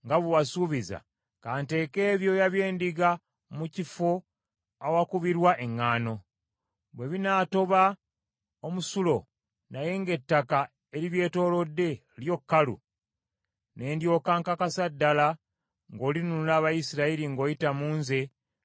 ka nteeke ebyoya by’endiga mu kifo awakubirwa eŋŋaano; bwe binaatoba omusulo naye ng’ettaka eribyetoolodde lyo kkalu, ne ndyoka nkakasa ddala ng’olinunula Abayisirayiri ng’oyita mu nze nga bwe wasuubiza.”